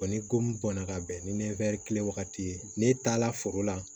ni ko mun bɔnna ka bɛn ni kile wagati ye n'e taa la foro la